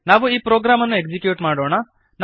ನಾವು ಈ ಪ್ರೋಗ್ರಾಮನ್ನು ಎಕ್ಸೀಕ್ಯೂಟ್ ಮಾಡೋಣ